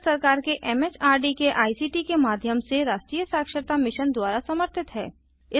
यह भारत सरकार के एमएचआरडी के आईसीटी के माध्यम से राष्ट्रीय साक्षरता मिशन द्वारा समर्थित है